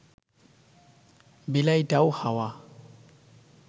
বিলাইটাও হাওয়া